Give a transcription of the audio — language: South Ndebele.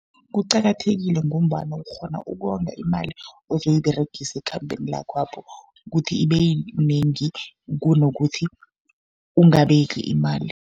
Kuqakathekile ngombana ukghona ukonga imali ozoyiberegisa ekhambeni lakhwapho, kuthi ibe yinengi kunokuthi ungabeki imali.